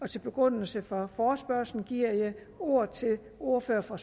til begrundelse for forespørgslen giver jeg ordet til ordføreren for